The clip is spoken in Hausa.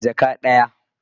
Rabin jaka.